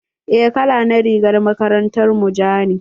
Eh, kala na rigar makarantar mu ja ne.